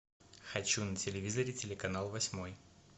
хочу на телевизоре телеканал восьмой